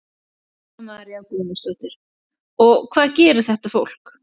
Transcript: Helga María Guðmundsdóttir: Og hvað gerir þetta fólk?